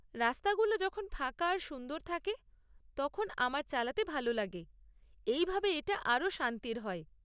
রাস্তাগুলো যখন ফাঁকা আর সুন্দর থাকে তখন আমার চালাতে ভালো লাগে, এই ভাবে এটা আরও শান্তির হয়।